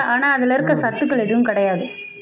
ஆனா அதுல இருக்க சத்துக்கள் எதுவும் கிடையாது